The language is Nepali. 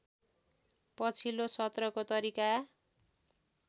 पछिल्लो सत्रको तरिका